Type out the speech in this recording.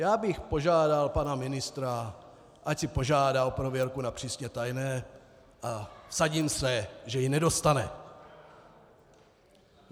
Já bych požádal pana ministra, ať si požádá o prověrku na přísně tajné, a vsadím se, že ji nedostane.